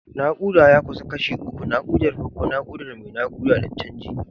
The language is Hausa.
Nakuda ya kasu kashi uku: nakudar farko, nakudar mai nakuda, da canji.